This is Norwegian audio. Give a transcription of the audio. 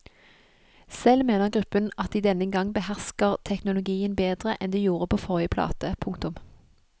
Selv mener gruppen at de denne gang behersker teknologien bedre enn de gjorde på forrige plate. punktum